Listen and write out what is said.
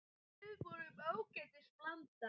Við vorum ágætis blanda.